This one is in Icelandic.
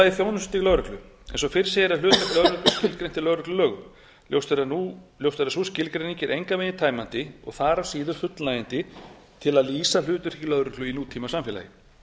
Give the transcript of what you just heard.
annars þjónustustig lögreglu eins og fyrr segir er hlutverk lögreglu skilgreint í lögreglulögum ljóst er að sú skilgreining er engan veginn tæmandi og þaðan af síður fullnægjandi til að lýsa hlutverki lögreglu í nútímasamfélagi